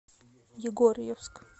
егорьевск